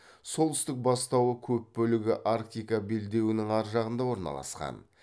солтүстік бастауы көп бөлігі арктика белдеуінің ар жағында орналасқан